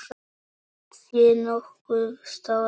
Sé nokkuð stóran sal.